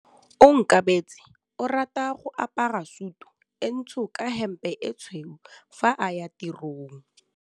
Onkabetse o rata go apara sutu e ntsho ka hempe e tshweu fa a ya tirong.